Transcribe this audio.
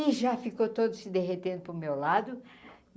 E já ficou todo se derretendo para o meu lado.